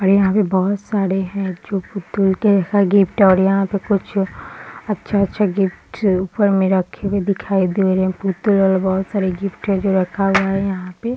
और यहाँ पे बहुत सारे है जो गिफ्ट और यहाँ पे कुछ अच्छे-अच्छे गिफ्ट ऊपर में रखे हुए दिखाई दे रहे और बहुत सारे गिफ्ट है जो रखा हुआ है यहाँ पे ।